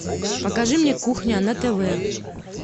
покажи мне кухня на тв